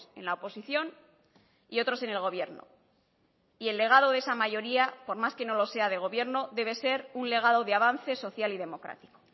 en la oposición y otros en el gobierno y el legado de esa mayoría por más que no lo sea de gobierno debe ser un legado de avance social y democrático